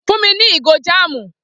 Fún mi ní ìgò jáàmù!